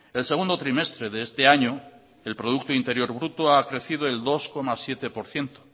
el segundo trimestre de este año el producto interior bruto ha crecido el dos coma siete por ciento